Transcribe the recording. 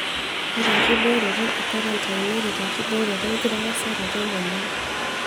Ore enkibooroto e kwarantain neret enkibooroto enkitarasaroto emoyian.